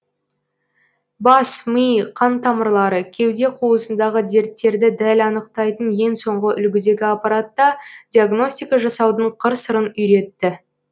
бас ми қан тамырлары кеуде қуысындағы дерттерді дәл анықтайтын ең соңғы үлгідегі аппаратта диагностика жасаудың қыр сырын үйретті